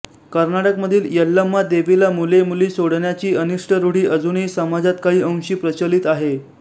कर्नाटकमधील यल्लम्मा देवीला मुले मुली सोडण्याची अनिष्ट रूढी अजूनही समाजात काही अंशी प्रचलित आहे